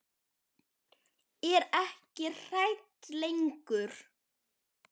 Er ekki hrædd lengur.